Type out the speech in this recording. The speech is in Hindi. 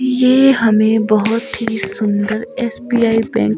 ये हमें बहुत ही सुंदर एस_बी_आई बैंक --